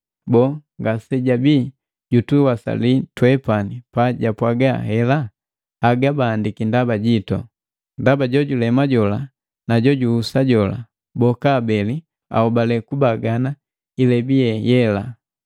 Boo, ngasejabii jutuwasali twepani pajapwaga hela? Haga baandika ndaba jitu, ndaba jojulema jola na jojuhusa jola, boka abeli ahobale kubagana ilebi ye yela.